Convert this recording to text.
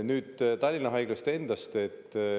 Nüüd Tallinna Haiglast endast.